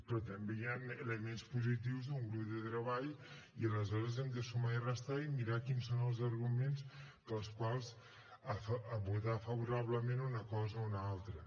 però també hi ha elements positius en un grup de treball i aleshores hem de sumar i restar i mirar quins són els arguments pels quals votar favorablement una cosa o una altra